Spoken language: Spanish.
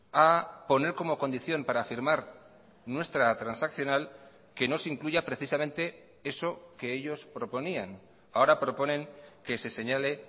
a poner como condición para firmar nuestra transaccional que no se incluya precisamente eso que ellos proponían ahora proponen que se señale